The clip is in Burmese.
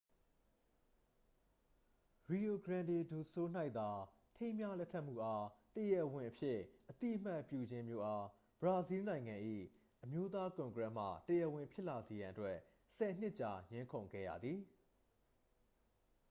rio grande do sul ၌သာ ထိမ်းမြားလက်ထပ်မှုအား တရားဝင်အဖြစ်အသိအမှတ်ပြုခြင်းမျိုးအား ဘရာဇီးလ်နိုင်ငံ၏ အမျိုးသားကွန်ကရက်မှ တရားဝင်ဖြစ်လာစေရန်အတွက် 10 နှစ်ကြာ ငြင်းခုန်ခဲ့ရသည်